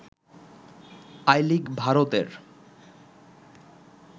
I League ভারতের